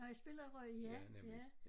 Nåh i spiller i Rø? Ja ja